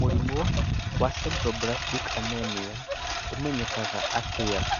Mũrimũ wa Sideroblastic Anemia ũmenyekaga atĩa?